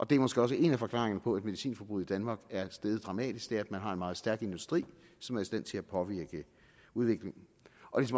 det er måske også en af forklaringerne på at medicinforbruget i danmark er steget dramatisk at man har en meget meget stærk industri som er i stand til at påvirke udviklingen